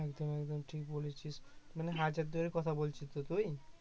একদম একদম ঠিক বলেছিস মানে এর কথা বলছিস তুই